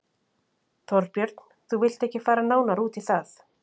Þorbjörn: Þú vilt ekki fara nánar út í það?